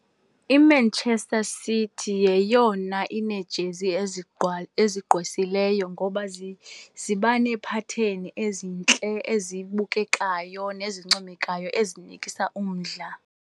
IManchester City yeyona ineejezi ezigqwesileyo ngoba ziba neephatheni ezintle, ezibukekayo nezincomekayo ezinikisa umdla.